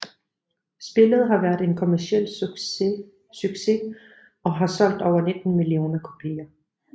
Spillet har været en kommerciel succes og har solgt over 19 millioner kopier